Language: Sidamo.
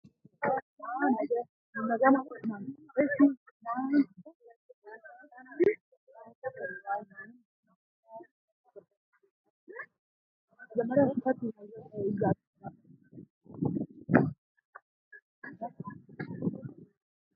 Loonseemmo Misile Co imma agadhate umonna biso hayshidhanna Danchate niwaawennita umi Bisu co icha ikkiro co immate gufo ani nabbawanna ane hoode nabbabbe.